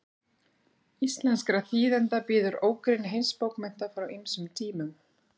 íslenskra þýðenda bíður ógrynni heimsbókmennta frá ýmsum tímum